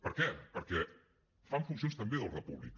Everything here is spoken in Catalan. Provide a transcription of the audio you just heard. per què perquè fan funcions també d’ordre públic